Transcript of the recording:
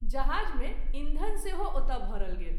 जहाज़ मे ईंधन से हो ओतय भरल गेल।